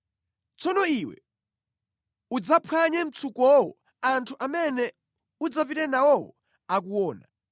“Tsono iwe udzaphwanye mtsukowo anthu amene udzapite nawowo akuona,